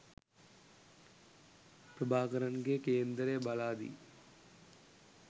ප්‍රභාකරන්ගේ කේන්දරය බලාදී